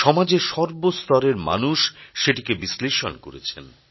সমাজের সর্বস্তরের মানুষ সেটিকে বিশ্লেষণ করেছেন